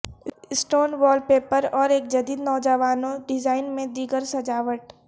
stone wallpaper اور ایک جدید نوجوانوں ڈیزائن میں دیگر سجاوٹ